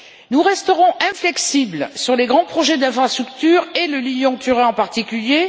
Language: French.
Nous resterons inflexibles sur les grands projets d'infrastructures, et le Lyon Turin en particulier.